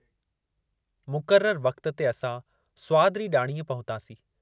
मुक़ररु वक़्तु ते असां स्वाद री डाणीअ पहुतासीं।